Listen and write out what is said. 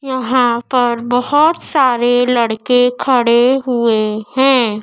यहां पर बहोत सारे लड़के खड़े हुए हैं।